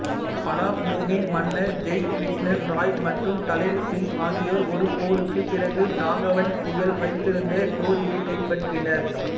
பலாமூவின் மன்னர் ஜெய்கிஷன் ராய் மற்றும் தலேல் சிங் ஆகியோர் ஒரு போருக்குப் பிறகு நாகவன்சிகள் வைத்திருந்த டோரியைக் கைப்பற்றினர்